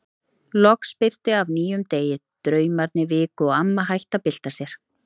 Loks birti af nýjum degi, draumarnir viku og amma hætti að bylta sér.